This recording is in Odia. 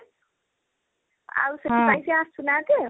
ଆଉ ସେଥିପାଇଁ ସେ ଆସୁନାହାନ୍ତି ଆଉ